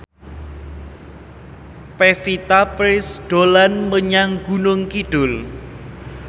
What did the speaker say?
Pevita Pearce dolan menyang Gunung Kidul